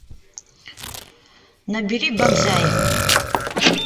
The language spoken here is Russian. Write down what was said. набери банзай